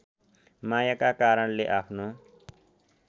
मायाका कारणले आफ्नो